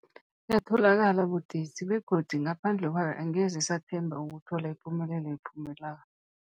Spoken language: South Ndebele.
Yatholakala budisi, begodu ngaphandle kwayo angeze sathemba ukuthola ipumelelo ephuphuma